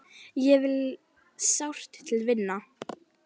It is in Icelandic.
Þig vil ég sárt til vinna.